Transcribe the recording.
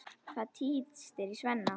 Það tístir í Svenna.